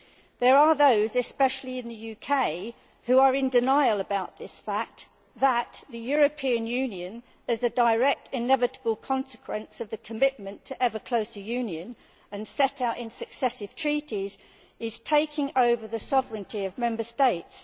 There are those, especially in the UK, who are in denial about this fact that the European Union, as a direct, inevitable consequence of the commitment to ever closer union, and as set out in successive treaties, is taking over the sovereignty of Member States.